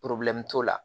t'o la